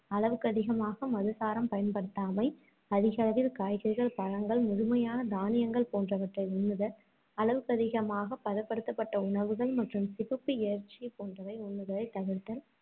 அளவுக்கதிகமாக மதுசாரம் பயன்படுத்தாமை, அதிகளவில் காய்கறிகள், பழங்கள், முழுமையான தானியங்கள் போன்றவற்றை உண்ணுதல், அளவுக்கதிகமாக பதப்படுத்தப்பட்ட உணவுகள், மற்றும் சிவப்பு இறைச்சி போன்றவை உண்ணுவதைத் தவிர்த்தல்,